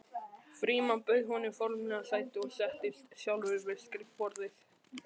Frímann bauð honum formlega sæti og settist sjálfur við skrifborðið.